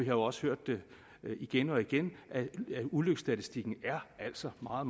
jo også hørt igen og igen at ulykkesstatistikken altså er